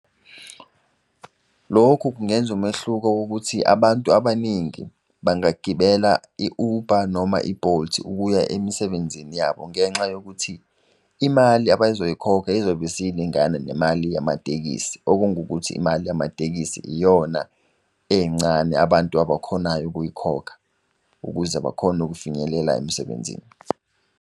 Lokhu kungenza umehluko wokuthi abantu abaningi bangagibela i-ubha noma ibholthi ukuya emisebenzini yabo. Ngenxa yokuthi imali abazoyi khokha izobe siy'lingana nemali yamatekisi. Okungukuthi imali yamatekisi iyona encane abantu abakhonayo ukuyikhokha ukuze bakhone ukufinyelela emsebenzini.